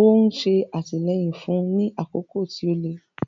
ó ń ṣe àtìlẹ́yìn fún un ní àkókò tí ó le.